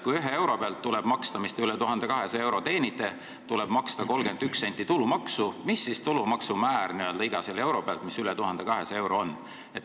Kui ühe euro pealt, mis üle 1200 euro teenitakse, tuleb maksta 31 senti tulumaksu, mis on siis tulumaksu määr n-ö iga euro pealt, mis on üle 1200 euro?